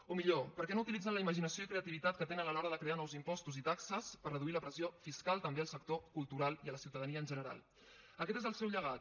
o millor perquè no utilitzen la imaginació i creativitat que tenen a l’hora de crear nous impostos i taxes per reduir la pressió fiscal també al sector cultural i a la ciutadania en general aquest és el seu llegat